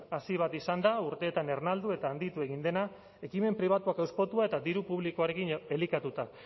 hazi bat izan da urteetan ernaldu eta handitu egin dena ekimen pribatuak hauspotu eta eta diru publikoarekin elikatuta